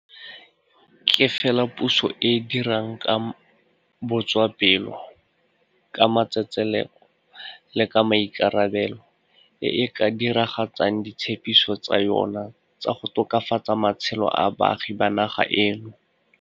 Ke fela puso e e dirang ka botswapelo, ka matsetseleko le ka maikarabelo e e ka dira gatsang ditshepiso tsa yona tsa go tokafatsa matshelo a baagi ba naga eno.